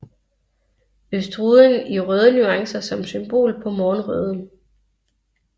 Østruden i røde nuancer som symbol på morgenrøden